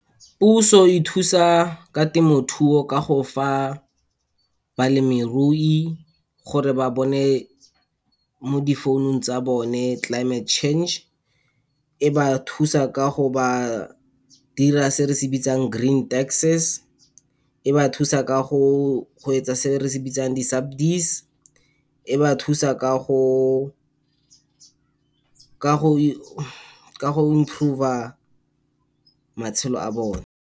Puso e thusa ka temothuo ka go fa balemirui gore ba bone mo difounung tsa bone climate change. E ba thusa ka go ba dira se re se bitsang green taxes. E ba thusa ka go e etsa se re se bitsang di-subsidies. E ba thusa ka go improve-a matshelo a bone.